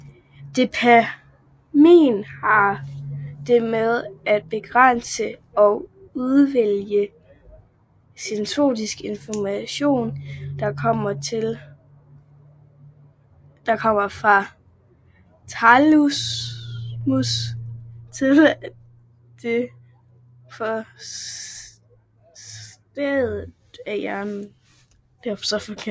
Dopamin har det med at begrænse og udvælge sensorisk information der kommer fra thalamus til det forreste af hjernen